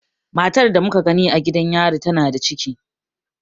Matar da muka gani a gidan yarin tana da ciki.